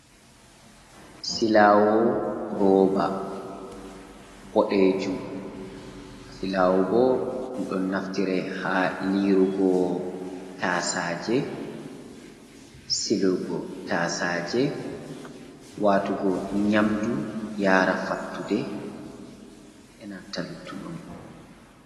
Silaawo rooba, boɗeejum. Silaawo bo ɗun naftire ha liirugo tasaaje, silugo taasaaje, waatugo nyamdu yaara fattude, enanta lugguɗum.